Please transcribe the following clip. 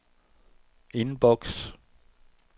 indboks